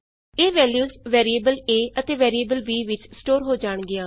ਇਹ values variable a ਅਤੇ variable b ਵਿਚ ਸਟੋਰ ਹੋ ਜਾਣਗੀਆਂ